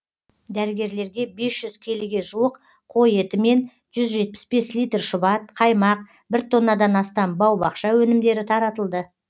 дәрігерлерге бес жүз келіге жуық қой еті мен жүз жетпіс бес литр шұбат қаймақ бір тоннадан астам бау бақша өнімдері таратылды